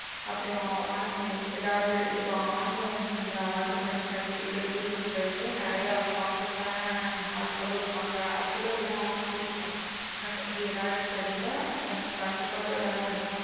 அப்புறம் உனக்கு எதாவது இப்போ online ல order பண்ணி delivery பண்றவங்களயே நறைய perfect ஆன ஆட்களும் இருப்பாங்க அதுல உள்ள app ம் இருக்கும். உனக்கு அப்படி எதாவது தெரிஞ்சா எனக்கு கண்டிப்பா அதோட.